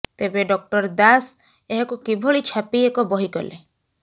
ତେବେ ଡଃ ଦାଶ ଏହାକୁ କିଭଳି ଛାପି ଏକ ବହି କଲେ